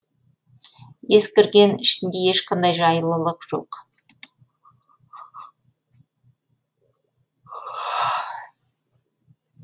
ескірген ішінде ешқандай жайлылық жоқ